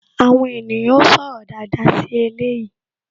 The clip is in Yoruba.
Àwọn ènìyàn ó sọ̀rọ̀ dáadáa sí eléyìí